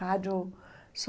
Rádio só...